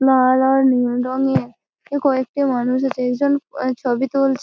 লাল আর নীল রংয়ে কয়েকটি মানুষ ছবি তুলছ--